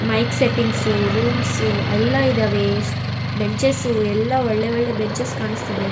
Mic settings rooms ಎಲ್ಲ ಇದಾವೆ benches ಎಲ್ಲ ಒಳ್ಳೆ ಒಳ್ಳೆ ಬೆಂಚಸ್ಸು ಕಾಣಿಸ್ತಿದೆ.